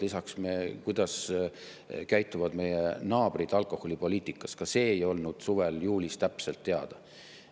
Lisaks see, kuidas käituvad meie naabrid alkoholipoliitikas, ei olnud suvel, juulis täpselt teada.